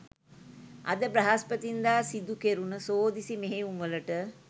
අද බ්‍රහස්පතින්දා සිදු කෙරුණ සෝදිසි මෙහෙයුම් වලට